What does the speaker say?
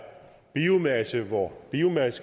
biomasse hvor biomasse